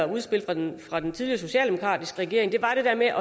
udspillet fra den tidligere socialdemokratiske regering var det der med